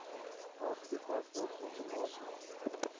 waar toepaslik outomaties